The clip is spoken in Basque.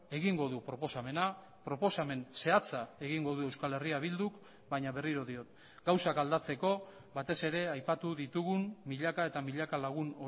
egingo du proposamena proposamen zehatza egingo du euskal herria bilduk baina berriro diot gauzak aldatzeko batez ere aipatu ditugun milaka eta milaka lagun